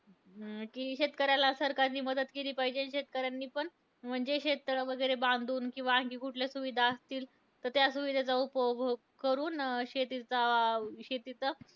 अं जी शेतकऱ्याला सरकारने मदत केली पाहिजे. शेतकऱ्यांनी पण म्हणजे शेततळं बांधून किंवा आणखी कुठल्या सुविधा असतील, तर त्या सुविधांचा उपभोग करून शेतीचा अं शेतीचा